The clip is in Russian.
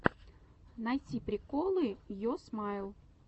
найти приколы йо смайл